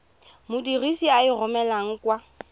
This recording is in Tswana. modirisi a e romelang kwa